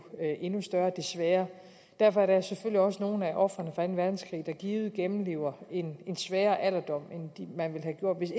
endnu større desværre derfor er der selvfølgelig også nogle af ofrene fra anden verdenskrig der givet gennemlever en sværere alderdom end man ville have gjort hvis